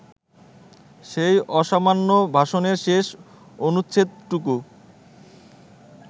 সেই অসামান্য ভাষণের শেষ অনুচ্ছেদটুকু